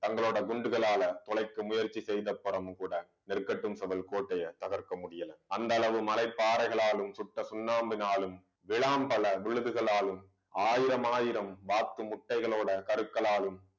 தங்களோட குண்டுகளால தொலைக்க முயற்சி செய்த அப்பறமும் கூட நெற்கட்டும் சபை கோட்டையை தகர்க்க முடியால அந்த அளவு மலை பாறைகளாலும் சுட்ட சுண்ணாம்பினாலும் விளாம்பழ விழுதுகளாலும் ஆயிரமாயிரம் வாத்து முட்டைகளோட கருக்களாலும்